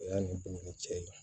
O y'a ni dumuni cɛ ye